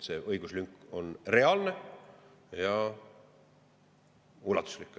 See õiguslünk on reaalne ja ulatuslik.